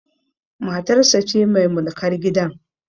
Matarsa ce mai mulkar gidan